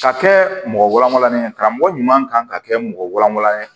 Ka kɛ mɔgɔ walaani ye karamɔgɔ ɲuman kan ka kɛ mɔgɔ walawalan ye